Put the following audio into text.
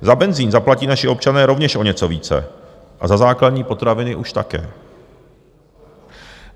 Za benzin zaplatí naši občané rovněž o něco více a za základní potraviny už také.